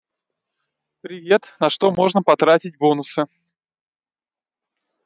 привет на что можно потратить бонусы